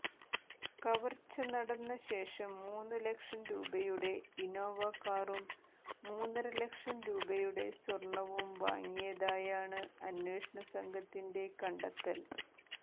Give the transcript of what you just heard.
കവർച്ചനടന്ന ശേഷം മൂന്ന് ലക്ഷം രൂപയുടെ ഇന്നോവ കാറും മുന്നര ലക്ഷം രൂപയുടെ സ്വർണവും വാങ്ങിയതായാണ് അന്വേഷണസംഘത്തിന്റെ കണ്ടെത്തൽ